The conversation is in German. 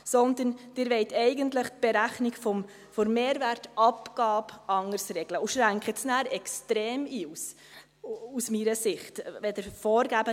Sie will eigentlich die Berechnung der Mehrwertabgabe anders regeln und schränkt diese, aus meiner Sicht, nachher extrem ein.